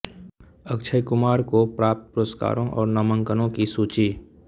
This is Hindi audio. अक्षय कुमार को प्राप्त पुरस्कारों और नामांकनों की सूची